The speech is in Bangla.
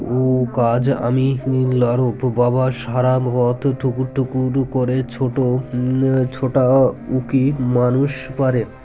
উ কাজ আমি নিলে আরও তুর বাবার সারা পথ ঠুকুর ঠুকুর করে ছোট আ ছোটাউকি মানুষ পারে